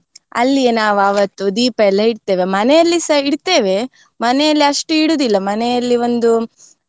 ಅಲ್ಲಿಯೇ ನಾವು ಆವತ್ತು ದೀಪ ಎಲ್ಲ ಇಡ್ತೇವೆ ಮನೆಯಲ್ಲಿಸಾ ಇಡ್ತೇವೆ ಮನೆಯಲ್ಲಿ ಅಷ್ಟು ಇಡುದಿಲ್ಲ ಮನೆಯಲ್ಲಿ ಒಂದು